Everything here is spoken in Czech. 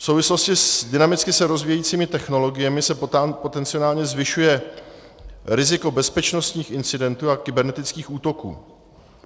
V souvislosti s dynamicky se rozvíjejícími technologiemi se potenciálně zvyšuje riziko bezpečnostních incidentů a kybernetických útoků.